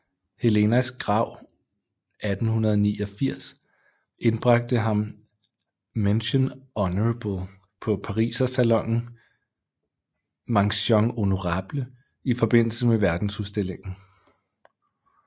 Helenas Grav 1889 indbragte ham Mention honorable på Parisersalonen i forbindelse med Verdensudstillingen